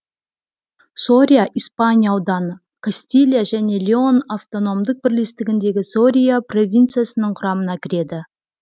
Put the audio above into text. сория испания ауданы кастилия және леон автономдік бірлестігіндегі сория провинциясының құрамына кіреді